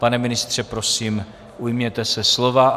Pane ministře, prosím, ujměte se slova.